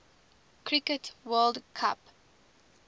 cricket world cup